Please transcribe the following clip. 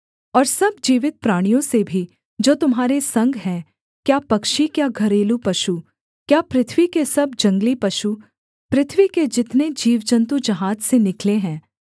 और सब जीवित प्राणियों से भी जो तुम्हारे संग हैं क्या पक्षी क्या घरेलू पशु क्या पृथ्वी के सब जंगली पशु पृथ्वी के जितने जीवजन्तु जहाज से निकले हैं